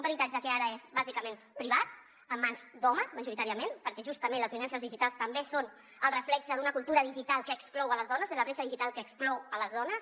un peritatge que ara és bàsicament privat en mans d’homes majoritàriament perquè justament les violències digitals també són el reflex d’una cultura digital que exclou les dones de la bretxa digital que exclou les dones